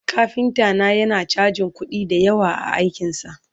kafinta na yana chajin kuɗi da yawa a aikinsa